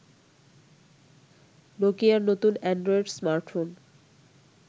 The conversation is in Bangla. নোকিয়ার নতুন অ্যান্ড্রয়েড স্মার্টফোন